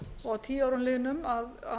og að tíu árum liðnum að